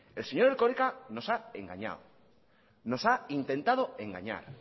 el señor erkoreka nos ha engañado nos ha intentado engañar